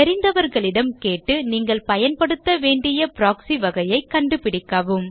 தெரிந்தவர்களிடம் கேட்டு நீங்கள் பயன்படுத்த வேண்டிய ப்ராக்ஸி வகையை கண்டுபிடிக்கவும்